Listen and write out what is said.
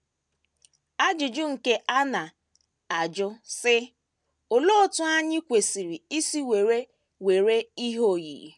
Ajụjụ nke anọ na - ajụ, sị: “ Olee otú anyị kwesịrị isi were were Ihe Oyiyi? ”